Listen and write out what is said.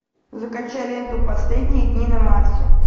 закачай ленту последние дни на марсе